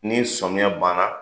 Ni sɔmiya banna